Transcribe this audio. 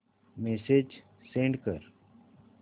message send कर